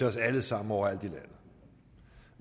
os alle sammen overalt i landet